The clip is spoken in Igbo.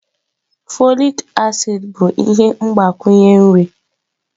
Folik acid bụ ihe mgbakwunye nri.